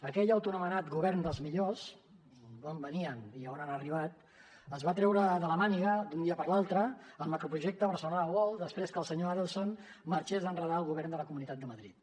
aquell autoanomenat govern dels millors d’on venien i a on han arribat es va treure de la màniga d’un dia per l’altre el macroprojecte barcelona world després que el senyor adelson marxés a enredar el govern de la comunitat de madrid